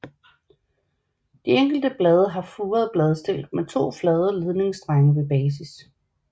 De enkelte blade har furet bladstilk med to flade ledningsstrenge ved basis